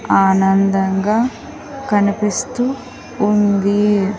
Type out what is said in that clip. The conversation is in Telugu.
ఆనందంగా కనిపిస్తూ ఉంది.